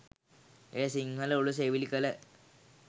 එය සිංහල උළු සෙවිලි කළ